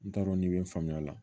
N t'a dɔn n'i bɛ faamuya la